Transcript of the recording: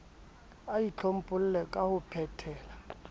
a itlhompholle ka ho phetela